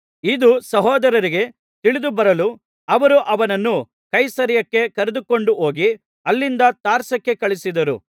ಇದು ಸಹೋದರರಿಗೆ ತಿಳಿದು ಬರಲು ಅವರು ಅವನನ್ನು ಕೈಸರೈಯಕ್ಕೆ ಕರೆದುಕೊಂಡು ಹೋಗಿ ಅಲ್ಲಿಂದ ತಾರ್ಸಕ್ಕೆ ಕಳುಹಿಸಿದರು